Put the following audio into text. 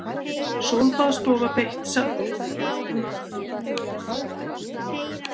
Sólbaðsstofa beitt dagsektum